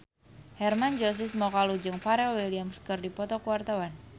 Hermann Josis Mokalu jeung Pharrell Williams keur dipoto ku wartawan